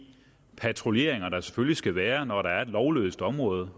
patruljeringer der selvfølgelig skal være når der er et lovløst område